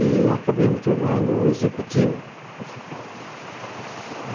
E acabei me tornando o executivo principal dela.